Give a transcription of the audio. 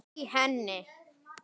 í henni